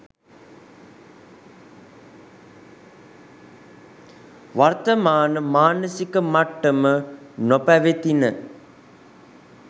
වර්තමාන මානසික මට්ටම නොපැවතින.